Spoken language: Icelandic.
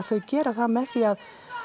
þau gera það með því